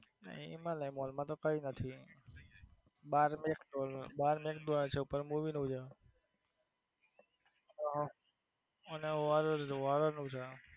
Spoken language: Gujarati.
હિમાલીયા મોલ માં તો કઈ નથી બાર મેક ડોનલ બાર મેક ડોનલ છે ઉપર movie નું છે અને horror horror નું છે.